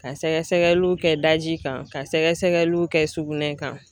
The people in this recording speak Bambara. Ka sɛgɛsɛgɛliw kɛ daji kan, ka sɛgɛsɛgɛliw kɛ sugunɛ kan.